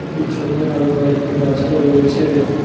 পিছনে আরো কয়েকটি গাছও রয়েছে।